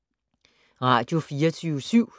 Radio24syv